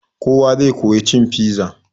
Kowa zai koya cin piza.